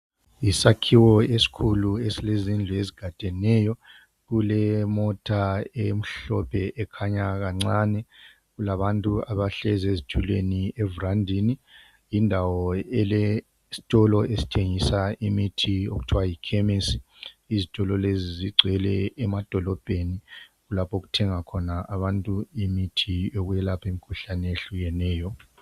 Yisakhiwo esikhulu esilezindlu ezigadeneyo. Kulemota emhlophe ekhanya kancane. Kulabantu abahlezi ezitulweni evurandini. Yindawo elesitolo esithengisa imithi okuthiwa yikhemesi. Izitolo lezi zigcwele emadolobheni. Kulapho okuthenga khona abantu imithi yokwelapha imikhuhlane ehlukeneyo.